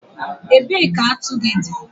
Ebee ka atu gị dị?